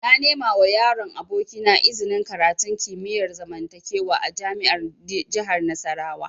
Na nemawa yaron abokina iznin karatun kimiyar zamantakewa a jami'ar jihar Nasarawa